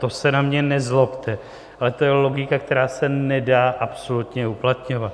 To se na mě nezlobte, ale to je logika, která se nedá absolutně uplatňovat.